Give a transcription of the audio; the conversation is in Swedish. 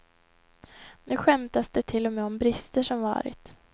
Nu skämtas det till och med om brister som varit.